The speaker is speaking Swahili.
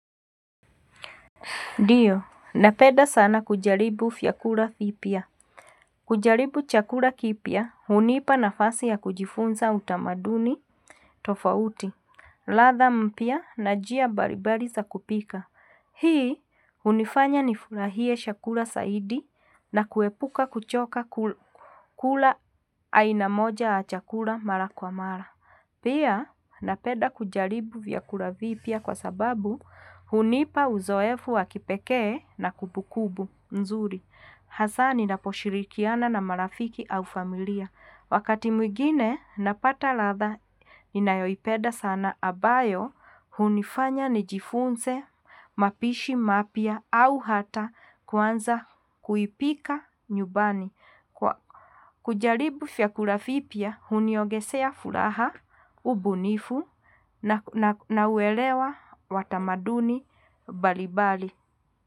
Ndio, nanpenda sana kujaribu vyakula vipya. Kujaribu chakula kipya, hunipa nafasi ya kujifunza utamaduni tofauti, ladha mpya na njia mbalimbali za kupika. Hii, hunifanya nifurahie chakula zaidi na kuepuka kuchoka kula aina moja ya chakula mara kwa mara. Pia napeda kujaribu vyakula vipya kwa sababu hunipa uzoefu wakipekee na kumbukumbu nzuri. Hasa ninaposhirikiana na marafiki au familia. Wakati mwigine napata ladha ninayoipenda sana ambayo hunifanya nijifunze, mapishi, mapya au hata kuanza kuipika nyumbani. Kujaribu vyakula vipya huniogezea furaha, ubunifu na uelewa wa tamaduni mbalimbali.